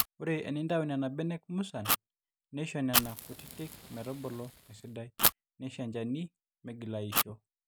ore enintau nena benek musan neisho nena kutitik metubulu esidai neisho enchani meigila aisho